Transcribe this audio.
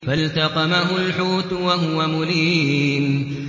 فَالْتَقَمَهُ الْحُوتُ وَهُوَ مُلِيمٌ